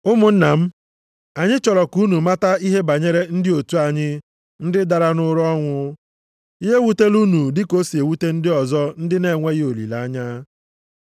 Ụmụnna m, anyị chọrọ ka unu mata ihe banyere ndị otu anyị ndị dara nʼụra ọnwụ, ya ewutela unu dịka o si ewute ndị ọzọ ndị na-enweghị olileanya.